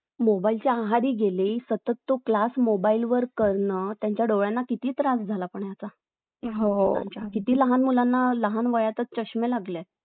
Mobile च्या आहारी गेले सतत तो क्लास Mobile वर करण त्यांच्या डोळ्यांना किती त्रास झाला पण याचा किती लहान मुलांना लहान वयातच चष्मे लागले